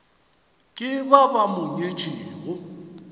ke ba ba mo nyetšego